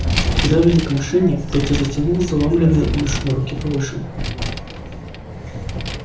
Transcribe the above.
когда вели к машине петя тянул заломленные илюшины руки повыше